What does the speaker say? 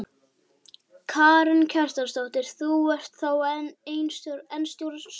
Karen Kjartansdóttir: Þú ert þá enn stórstjarna?